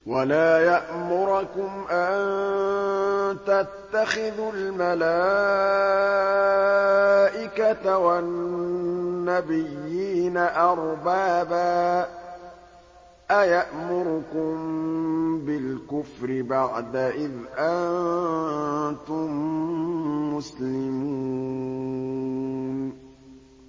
وَلَا يَأْمُرَكُمْ أَن تَتَّخِذُوا الْمَلَائِكَةَ وَالنَّبِيِّينَ أَرْبَابًا ۗ أَيَأْمُرُكُم بِالْكُفْرِ بَعْدَ إِذْ أَنتُم مُّسْلِمُونَ